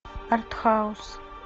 артхаус